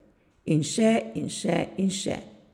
In še in še in še.